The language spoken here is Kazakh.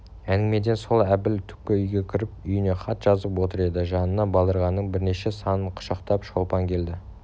әңгімеден соң әбіл түпкі үйге кіріп үйіне хат жазып отыр еді жанына балдырғанныңбірнеше санын құшақтап шолпан келді